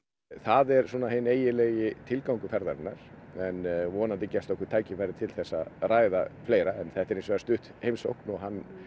það er svona hinn eiginlegi tilgangur ferðarinnar en vonandi gefst okkur tækifæri til að ræða fleira en þetta er hins vegar stutt heimsókn og hann